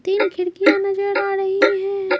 तीन खिड़कियां नजर आ रही है।